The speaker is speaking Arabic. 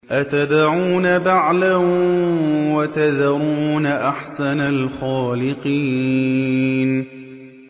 أَتَدْعُونَ بَعْلًا وَتَذَرُونَ أَحْسَنَ الْخَالِقِينَ